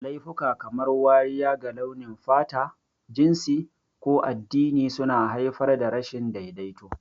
Laifuka kamar wariya ga launin fata, jinsi, ko addini suna haifar da rashin daidaito.